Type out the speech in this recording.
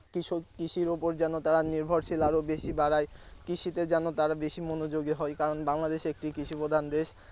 কৃষক কৃষির ওপর যেন তারা নির্ভরশীল আরো বেশী বাড়ায় কৃষিতে যেন তারা বেশি মনোযোগী হয় কারন বাংলাদেশ একটি কৃষি প্রধান দেশ।